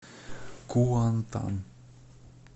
куантан